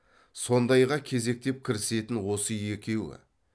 сондайға кезектеп кірісетін осы екеуі